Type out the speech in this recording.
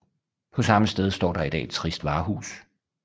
På samme sted står der i dag et trist varehus